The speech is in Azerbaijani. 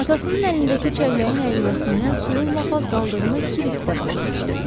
Atasının əlindəki çəlləyin əyilməsindən suyun lap az qaldığını Krisk də başa düşdü.